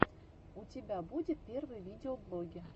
у тебя будет первые видеоблоги